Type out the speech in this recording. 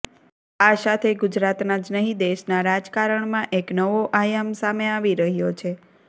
આ સાથે ગુજરાતના જ નહીં દેશના રાજકારણમાં એક નવો આયામ સામે આવી રહ્યો છે